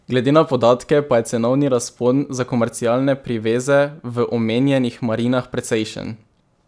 Glede na podatke pa je cenovni razpon za komercialne priveze v omenjenih marinah precejšen.